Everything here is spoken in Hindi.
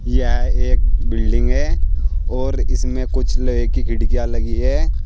यह एक बिल्डिंग है और इसमें कुछ लोहे की खिड़कियां लगी है।